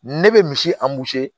Ne bɛ misi